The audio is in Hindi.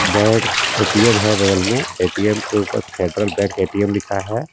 बेड ए_टी_एम है बगल में ए_टी_एम के ऊपर फेडरल बैंक ए_टी_एम लिखा है.